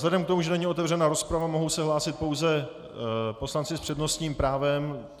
Vzhledem k tomu, že není otevřena rozprava, mohou se hlásit pouze poslanci s přednostním právem.